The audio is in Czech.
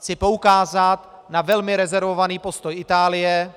Chci poukázat na velmi rezervovaný postoj Itálie,